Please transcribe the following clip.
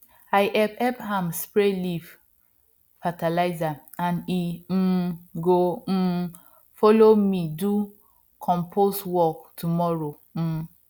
i help help am spray leaf fertilizer and he um go um follow me do compost work tomorrow um